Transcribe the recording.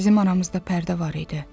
Bizim aramızda pərdə var idi.